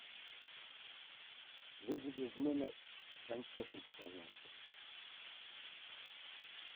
вызови в номер сантехника пожалуйста